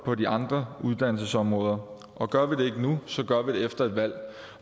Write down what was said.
på de andre uddannelsesområder og gør vi det ikke nu gør vi det efter et valg